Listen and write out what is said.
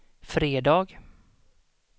fredag